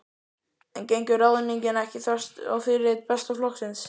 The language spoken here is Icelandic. En gengur ráðningin ekki þvert á fyrirheit Besta flokksins?